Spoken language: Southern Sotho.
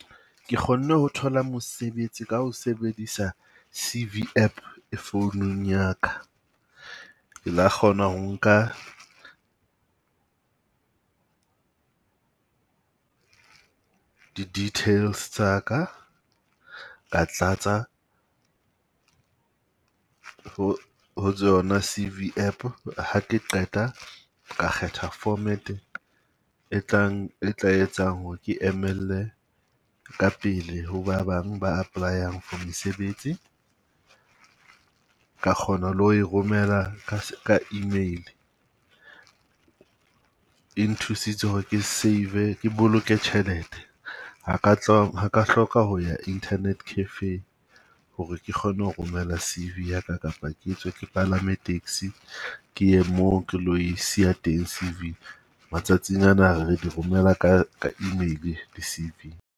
Ke kgonne ho thola mosebetsi ka ho sebedisa C_V App e founung ya ka. Ke la kgona ho nka di-details tsa ka, ka tlatsa ho ho tsona C_V App. Ha ke qeta ka kgetha format e tlang e tla etsang hore ke emelle ka pele ho ba bang ba apply-ang for mesebetsi. Ka kgona le ho e romela ka ka e-mail. E nthusitse hore ke save-e, ke boloke tjhelete ha ka ha ka hloka ho ya internet cafe hore ke kgone ho romela C_V yaka kapa ke tswe ke palame taxi, ke ye moo ke lo e siya teng C_V. Matsatsing ana ha re di romela ka ka e-mail di-C_V.